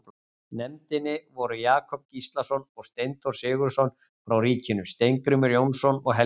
nefndinni voru Jakob Gíslason og Steinþór Sigurðsson frá ríkinu, Steingrímur Jónsson og Helgi